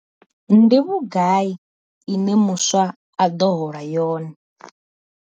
Ndi vhugai ine muswa a ḓo hola yone?